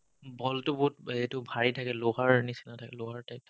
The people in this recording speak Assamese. ball টো বহুত বে এইটো bhari থাকে লোহাৰ নিচিনা থাকে লোহাৰ type থাকে